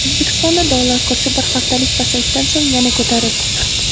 O‘zbekistonda dollar kursi bir haftalik pasayishdan so‘ng yana ko‘tarildi.